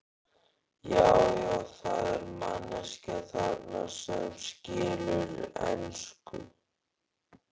Já, já, það er manneskja þarna sem skilur ensku!